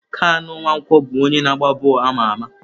Kanu Nwankwo bụ onye na agba bọọlụ ama ama.